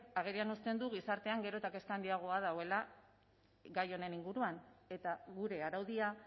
agerian uzten du gizartean gero eta handiagoa dagoela gai honen inguruan eta gure araudia